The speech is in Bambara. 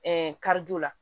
Ɛɛ karido la